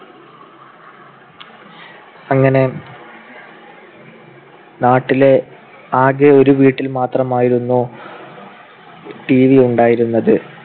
അങ്ങനെ നാട്ടിലെ ആകെ ഒരു വീട്ടിൽ മാത്രമായിരുന്നു TV ഉണ്ടായിരുന്നത്.